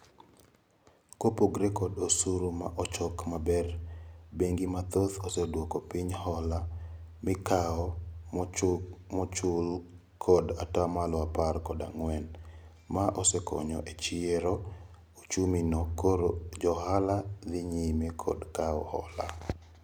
Kopogore kod osuru ma ochok maber bengi mathoth oseduoko piny hola mikao mokchul kod atamalo apar kod ang'wen. Ma osekonyo e chiero ochumima koro johola dhi nyime kod kao hola.